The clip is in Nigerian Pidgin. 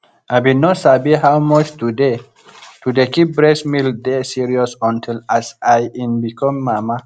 i bin no sabi how much to dey to dey keep breast milk dey serious until as in i become mama